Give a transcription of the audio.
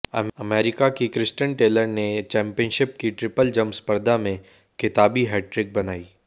America की Christian Taylor ने championship की ट्रिपल जम्प स्पर्धा में खिताबी हैट्रिक बनाई